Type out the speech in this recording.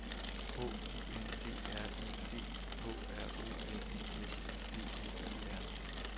H U N D R E D K R O N E S E D L E R